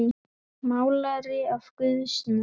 Málari af guðs náð.